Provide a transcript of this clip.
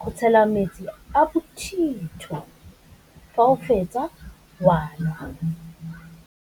go tshela metsi a bothitho fa o fetsa wa nwa.